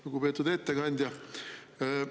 Lugupeetud ettekandja!